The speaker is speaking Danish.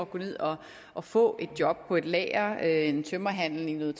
gå ned og og få et job på et lager i en tømmerhandel inden